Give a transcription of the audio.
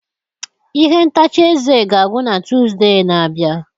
Ihe ntacha eze ga-agwụ na Tuzdee na-abịa.